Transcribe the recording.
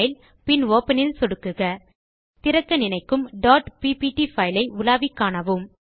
file பின் open இல் சொடுக்குக திறக்க நினைக்கும் ppt பைல் ஐ உலாவி காணவும்